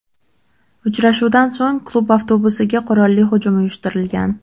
Uchrashuvdan so‘ng klub avtobusiga qurolli hujum uyushtirilgan.